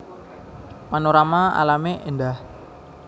Panorama alamé éndah